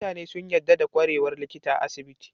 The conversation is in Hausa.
Mutane sun yadda da kwarewar likita a asibiti